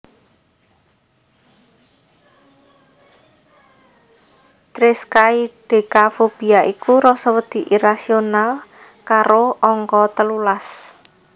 Triskaidekafobia iku rasa wedi irasional karo angka telulas